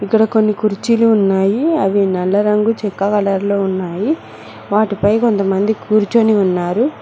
ఇక్కడ కొన్ని కుర్చీలు ఉన్నాయి అవి నల్ల రంగు చెక్క కలర్ లో ఉన్నాయి వాటిపై కొంతమంది కూర్చొని ఉన్నారు.